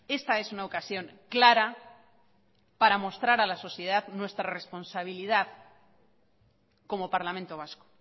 esta es una ocasión clara para mostrar a la sociedad nuestra responsabilidad como parlamento vasco